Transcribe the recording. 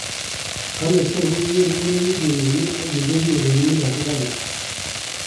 kale tor koger murenik ke name ag kende pingoinik asigariik